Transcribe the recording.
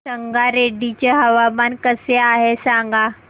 संगारेड्डी चे हवामान कसे आहे सांगा